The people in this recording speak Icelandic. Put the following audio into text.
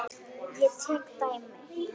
Ég tek dæmi.